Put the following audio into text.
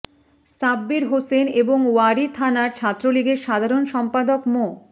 সাব্বির হোসেন এবং ওয়ারী থানার ছাত্রলীগের সাধারণ সম্পাদক মো